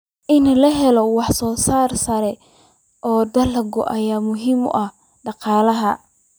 In la helo wax soo saar sare oo dalag ah ayaa muhiim u ah dhaqaalaha.